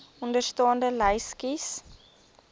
onderstaande lys kies